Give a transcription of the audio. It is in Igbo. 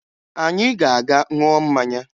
Anyị ga-aga ṅụọ mmanya